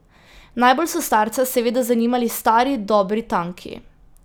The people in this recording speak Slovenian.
Najbolj so starca seveda zanimali stari dobri tanki.